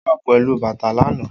O wa pelu bata lana